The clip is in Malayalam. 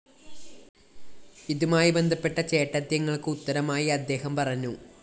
ഇതുമായി ബന്ധപ്പെട്ട ചേട്ടദ്യങ്ങള്‍ക്ക് ഉത്തരമായി അദ്ദേഹം പറഞ്ഞു